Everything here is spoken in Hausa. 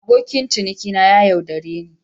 Abokin cinikina ya yaudare ni.